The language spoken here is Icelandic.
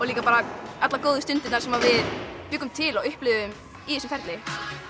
líka bara allar góðu stundirnar sem við bjuggum til og upplifðum í þessu ferli